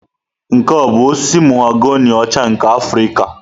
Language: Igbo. Nke a ọ bụ osisi mahogani ọcha nke Afrịka?